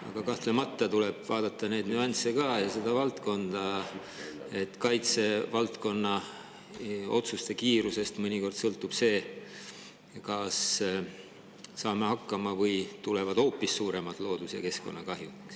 Aga kahtlemata tuleb vaadata ka nüansse ja seda, et kaitsevaldkonna otsuste kiirusest võib sõltuda see, kas saame hakkama või tulevad hoopis suuremad loodus- ja keskkonnakahjud.